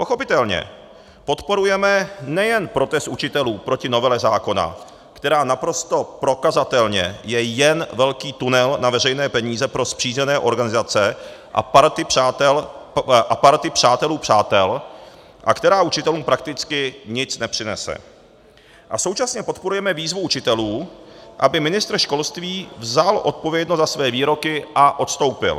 Pochopitelně podporujeme nejen protest učitelů proti novele zákona, která naprosto prokazatelně je jen velký tunel na veřejné peníze pro spřízněné organizace a party přátel přátel a která učitelům prakticky nic nepřinese, a současně podporujeme výzvu učitelů, aby ministr školství vzal odpovědnost za své výroky a odstoupil.